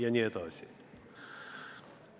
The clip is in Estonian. Jne.